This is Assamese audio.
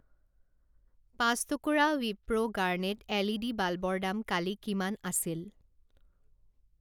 পাঁচ টুকুৰা ৱিপ্ৰো গাৰ্নেট এলইডি বাল্বৰ দাম কালি কিমান আছিল?